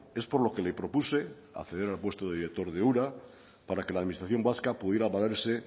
es por lo que le propuse acceder al puesto de director de ura para que la administración vasca pudiera valerse